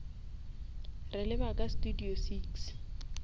re leba ka studio six